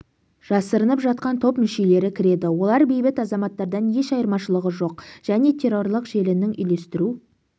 жасырынып жатқан топ мүшелері кіреді олар бейбіт азаматтардан еш айырмашылығы жоқ және террорлық желінің үйлестіру